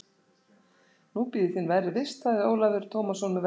Nú bíður þín verri vist, sagði Ólafur Tómasson með vorkunnsemi.